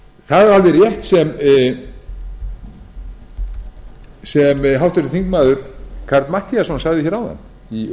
það er alveg rétt sem háttvirtur þingmaður karl matthíasson sagði hér áðan í